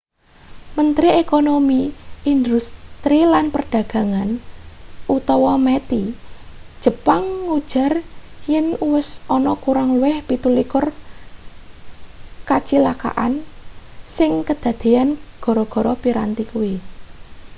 mentri ekonomi industri lan perdagangan meti jepang ngujar yen uwis ana kurang luwih 27 kacilakan sing kadadeyan gara-gara piranti kuwi